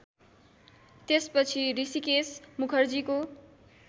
त्यसपछि हृषिकेश मुखर्जीको